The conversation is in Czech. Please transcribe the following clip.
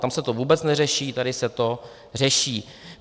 Tam se to vůbec neřeší, tady se to řeší.